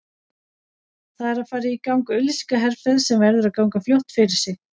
Það er að fara í gang auglýsingaherferð sem verður að ganga fljótt fyrir sig.